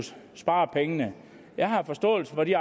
spare pengene jeg har forståelse for de